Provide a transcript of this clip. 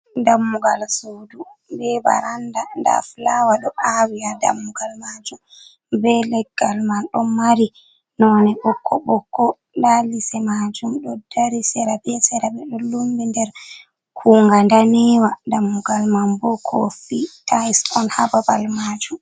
Dammugal suudu be barannda, ndaa fulawa ɗo aawi haa dammugal maajum, be leggal man ɗon mari noone ɓoko ɓoko. Ndaa lise maajum, ɗo dari sera be sera, ɓe ɗo lummbi nder kuunga daneewa. Dammugal man bo, kofi, tayis on, haa babal maajum.